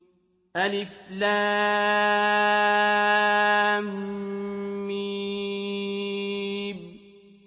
الم